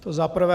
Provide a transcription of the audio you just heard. To za prvé.